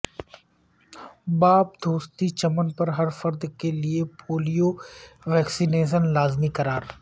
باب دوستی چمن پر ہر فرد کے لیے پولیو ویکسی نیشن لازمی قرار